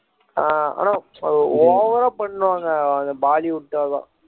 ஆஹ் ஆனா over ஆ பண்ணுவாங்க அந்த பாலிவுட்ல தான்